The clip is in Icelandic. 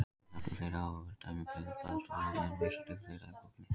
Hún nefnir fleiri áhugaverð dæmi um böð og baðstofuofninn og vísast til þeirra í bókinni.